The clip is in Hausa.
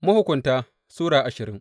Mahukunta Sura ashirin